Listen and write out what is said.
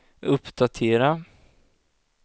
uppdatera